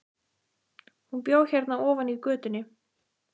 Hún bjó hérna ofar í götunni.